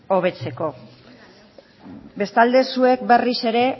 hobetzeko bestalde zuek berriz ere